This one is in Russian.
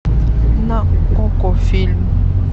на окко фильм